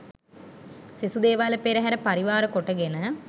සෙසු දේවාල පෙරහර පරිවාර කොටගෙන